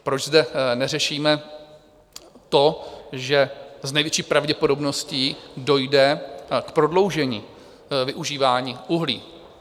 Proč zde neřešíme to, že s největší pravděpodobností dojde k prodloužení využívání uhlí?